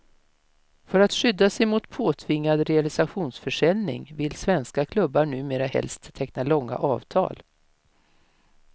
För att skydda sig mot påtvingad realisationsförsäljning vill svenska klubbar numera helst teckna långa avtal.